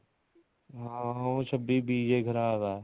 ਹਾਂ ਉਹ ਛੱਬੀ ਬੀਜ ਹੀ ਖਰਾਬ ਹੈ